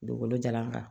Dugukolo jalan kan